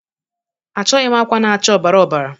Achọghị m akwa na-acha ọ̀bàrà ọ̀bàrà